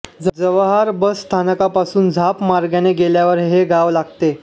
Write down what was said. Jawhar bus स्थानकापासून झाप मार्गाने गेल्यावर हे गाव लागते